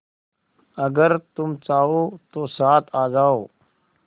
अगर तुम चाहो तो साथ आ जाओ